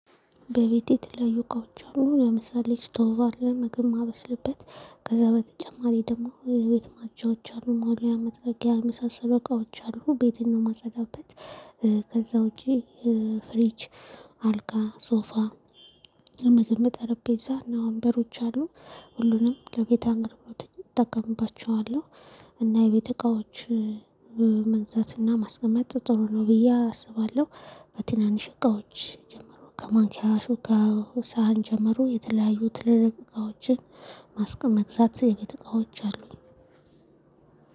በቤቴ የተለያዩ እቃዎች አሉ ለምሳሌ ስቶቭ አለ ምግብ የማበስልበት ከዛ በተጨማሪ ደግሞ የቤት ማጽጃዎች አሉ መወልወያ መጥረጊያ የመሳሰሉ እቃዎች አሉ ቤቴን ነው የማጸዳበት። ከዛ ውጪ ፍሪጅ አልጋ ሶፋ ለመቀመጥ ጠረቤዛ እና ወንበሮች አሉ ሁሉንም ለቤት አገልግሎት እጠቀምባቸዋለሁ። እና የቤት እቃዎች መግዛትና ማስቀመጥ ጥሩ ነው ብዬ አስባለሁ። ከትናንሽ እቃዎች ጀምሮ ከማንኪያ ሹካ ሳህን ጀመሮ የተለያዩ ትልልቅ እቃዎችን ማስቀምጥበት የቤት እቃዎች አሉኝ።